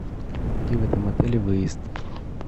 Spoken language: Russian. где в этом отеле выезд